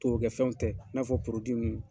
Torokɛfɛnw tɛ i n'a fɔ ninnu.